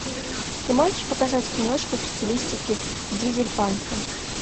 ты можешь показать киношку в стилистике дизельпанка